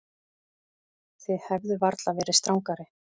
Þið hefðuð varla verið strangari.